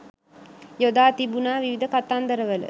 යොදා තිබුණා විවිධ කතන්දරවල.